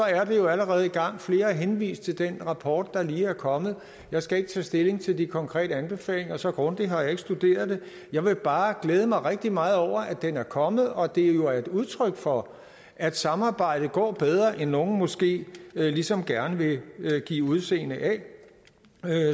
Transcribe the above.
er det jo allerede i gang flere har henvist til den rapport der lige er kommet jeg skal ikke tage stilling til de konkrete anbefalinger så grundigt har jeg ikke studeret den jeg vil bare glæde mig rigtig meget over at den er kommet og at det jo er et udtryk for at samarbejdet går bedre end nogle måske ligesom gerne vil give udseende af